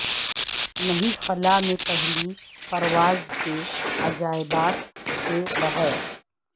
نہیں خلا میں پہلی پرواز کے عجائبات کے بغیر